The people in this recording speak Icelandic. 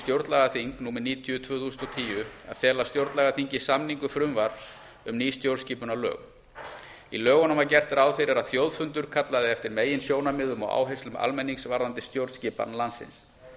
stjórnlagaþing númer níutíu tvö þúsund og tíu að fela stjórnlagaþingi samningu frumvarps um ný stjórnarskipunarlög í lögunum var gert ráð fyrir að þjóðfundur kallaði eftir meginsjónarmiðum og áherslum almennings varðandi stjórnskipan landsins